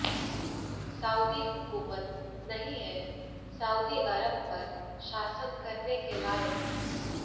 Saudi हुकूमत नहीं है सऊदी अरब पर शासन करने के लायक